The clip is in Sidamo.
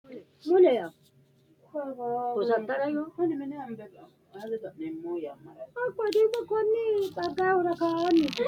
Ago agatenni daggara dandiitanno dhibbuwa hiikkuriiti? Agu jaddo loosate xixxiiwannohu mayraati? Agu lasenni gatate maa assa hasiissanno? Tini sharrosi paarlaamu miilla be’e assiteenna, Maminni dayno uggaati?